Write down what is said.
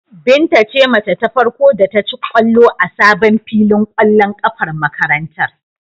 Binta ce mace ta farko da ta ci ƙwallo a sabon filin ƙwallon ƙafar makarantar.